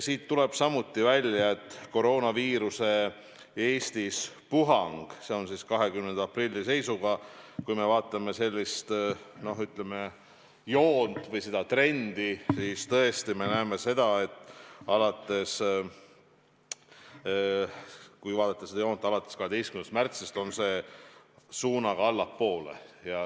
Seal tuli samuti välja, et koroonaviiruse puhang Eestis 20. aprilli seisuga, kui me vaatame sellist joont või trendi, on alates 12. märtsist suunaga allapoole.